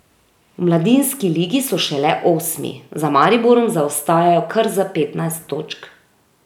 V mladinski ligi so šele osmi, za Mariborom zaostajajo kar za petnajst točk.